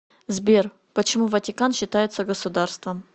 сбер почему ватикан считается государством